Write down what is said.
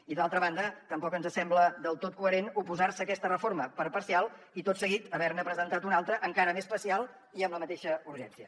i d’altra banda tampoc ens sembla del tot coherent oposar se a aquesta reforma per parcial i tot seguit haver ne presentat una altra encara més parcial i amb la mateixa urgència